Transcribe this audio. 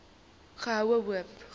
goede hoop